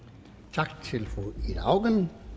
tak til fru ida auken